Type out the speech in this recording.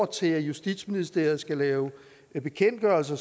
til at justitsministeriet skal lave bekendtgørelser